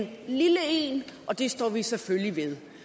og det står vi selvfølgelig ved